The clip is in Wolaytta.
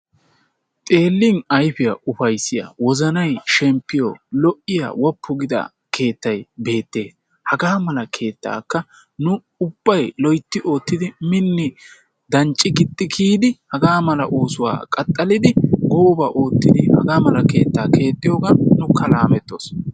Xeelin ayfiyaa ufayssiya wozanay shemppiyo lo"iyaa woppu giida keettay beettees. Haga mala keettakka nu ubbay loytti oottidi minni dancci gixxi kiyidi haga mala oosuwaa qaxxalidi gooba oottidi hagaa keetta keexxiyoogan nuukka laamettoos.